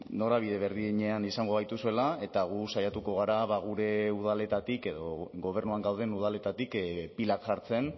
norabide berdinean izango gaituzuela eta gu saiatuko gara gure udaletatik edo gobernuan gauden udaletatik pilak jartzen